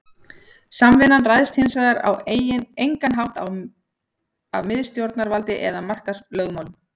Samvinnan ræðst hins vegar á engan hátt af miðstjórnarvaldi eða markaðslögmálum.